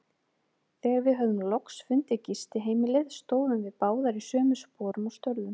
Þegar við höfðum loks fundið gistiheimilið, stóðum við báðar í sömu sporum og störðum.